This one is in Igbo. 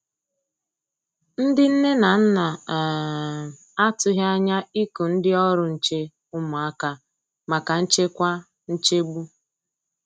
Ndi nne na nna um a tụghi anya iku ndi ọrụ nche ụmụaka maka nchekwa nchegbu.